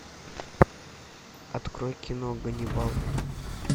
открой кино ганнибал